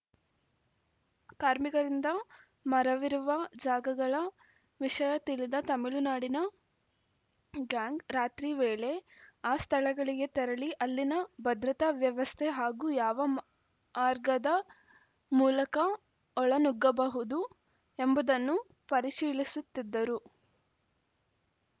ಕಾರ್ಮಿಕರಿಂದ ಮರವಿರುವ ಜಾಗಗಳ ವಿಷಯ ತಿಳಿದ ತಮಿಳುನಾಡಿನ ಗ್ಯಾಂಗ್‌ ರಾತ್ರಿ ವೇಳೆ ಆ ಸ್ಥಳಗಳಿಗೆ ತೆರಳಿ ಅಲ್ಲಿನ ಭದ್ರತಾ ವ್ಯವಸ್ಥೆ ಹಾಗೂ ಯಾವ ಮ್ ಆರ್ಗದ ಮೂಲಕ ಒಳ ನುಗ್ಗಬಹುದು ಎಂಬುದನ್ನು ಪರಿಶೀಲಿಸುತ್ತಿದ್ದರು